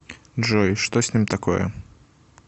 джой что с ним такое